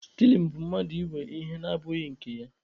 Stiling bụ mmadụ ịwe ihe na abụghị nke ya.